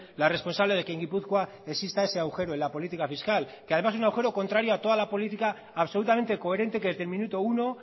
la responsable de que en gipuzkoa exista ese agujero en la política fiscal que además un agujero contrario a toda la política absolutamente coherente que desde el minuto uno